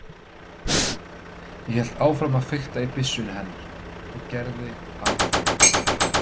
Ég hélt áfram að fikta í byssunni hennar og gerði alþjóða